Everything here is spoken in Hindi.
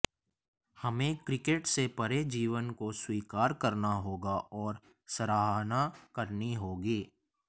हमें क्रिकेट से परे जीवन को स्वीकार करना होगा और सराहना करनी होगी